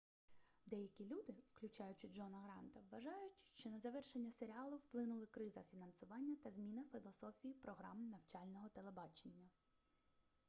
деякі люди включаючи джона гранта вважають що на завершення серіалу вплинули криза фінансування та зміна філософії програм навчального телебачення